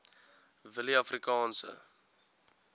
willieafrikaanse